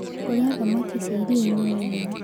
Kũrĩa thamakĩ cia ĩrĩaĩnĩ nĩwega